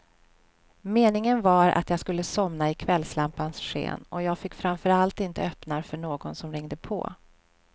Meningen var att jag skulle somna i kvällslampans sken, och jag fick framför allt inte öppna för någon som ringde på.